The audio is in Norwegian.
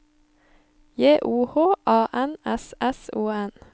J O H A N S S O N